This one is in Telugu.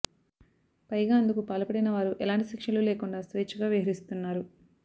పైగా అందు కు పాల్పడిన వారు ఎలాంటి శిక్షలూ లేకుండా స్వేచ్ఛగా విహరి స్తున్నారు